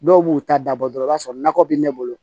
Dɔw b'u ta dabɔ dɔrɔn i b'a sɔrɔ nakɔ bɛ ne bolo